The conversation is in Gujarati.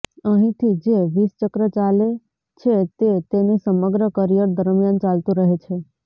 અહીંથી જે વિષચક્ર ચાલે છે તે તેની સમગ્ર કરિયર દરમિયાન ચાલતું રહે છે